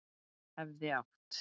Hefði átt